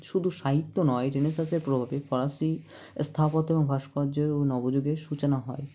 শুধু সাহিত্য নয় Renaissance -এর প্রভাবে ফরাসি স্থাপত্য ও ভাষ্কর্যের ও নবযুগের সূচনা হয়